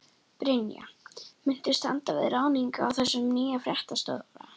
Brynja: Muntu standa við ráðninguna á þessum nýja fréttastjóra?